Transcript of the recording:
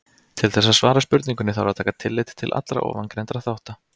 Til þess að svara spurningunni þarf að taka tillit til allra ofangreindra þátta.